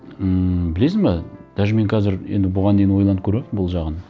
ммм білесің бе даже мен қазір енді бұған дейін ойланып көрмеппін бұл жағын